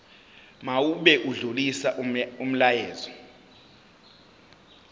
mawube odlulisa umyalezo